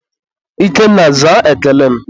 Ikenna, zaa ekele m!